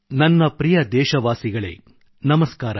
ನನ್ನ ಪ್ರಿಯ ದೇಶವಾಸಿಗಳೇ ನಮಸ್ಕಾರ